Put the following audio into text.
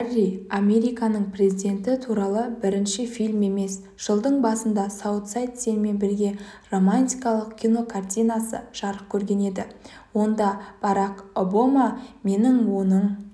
барри американың президенті туралы бірінші фильм емес жылдың басында саутсайд сенімен бірге романтикалық кинокартинасы жарық көрген еді ондабарак обама мен оның